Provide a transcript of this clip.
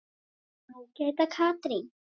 Ágæta Katrín.